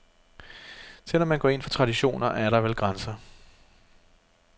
Selv om man går ind for traditioner, er der vel grænser.